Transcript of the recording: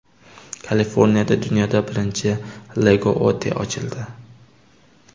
Kaliforniyada dunyoda birinchi Lego-otel ochildi.